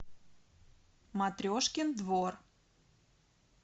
матрешкин двор